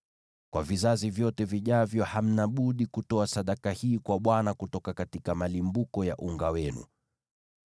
Kwa vizazi vyote vijavyo hamna budi kutoa sadaka hii kwa Bwana kutoka kwa malimbuko ya unga wenu.